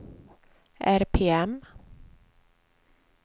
RPM